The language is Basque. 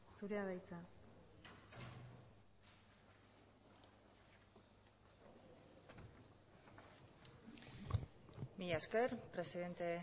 zurea da hitza mila esker presidente